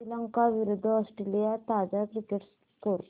श्रीलंका विरूद्ध ऑस्ट्रेलिया ताजा cricket score